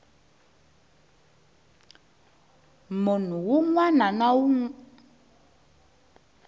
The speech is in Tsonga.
munhu wun wana na wun